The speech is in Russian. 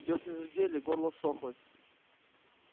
десны зудели горло ссохлось